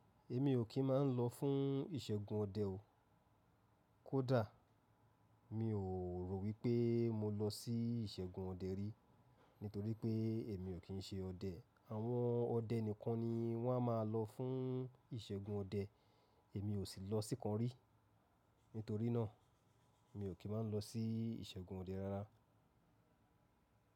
Èmi ò kí ń máa ń lọ fún ìṣẹ́gun ọdẹ o. Kódà mi ò rò wípé mo lọ sí ìṣẹ́gun ọdẹ rí, nítorí pé èmi ò kí ń ṣe ọdẹ. Àwọn ọdẹ nìkan ni wọ́n a máa lọ fún ìṣẹ́gun ọdẹ. Èmi ò sì lọ síkan rí, nítorí náà mi ò kí má lọ sí ìṣẹ́gun ọdẹ rara.